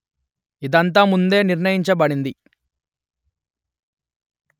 ఇదంతా ముందే నిర్ణయించబడింది